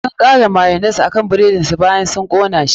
Sun kara mayonnaise akan buredin su bayan sun kona shi.